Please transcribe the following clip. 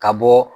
Ka bɔ